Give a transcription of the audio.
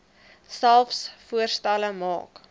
selfs voorstelle maak